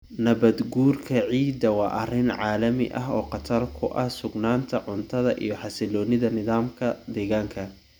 Nabaad-guurka ciidda waa arrin caalami ah oo khatar ku ah sugnaanta cuntada iyo xasilloonida nidaamka deegaanka.